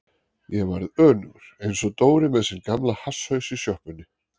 Ég varð önugur einsog Dóri með sinn gamla hasshaus í sjoppunni.